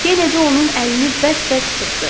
Kenedi onun əlini bərk-bərk sıxdı.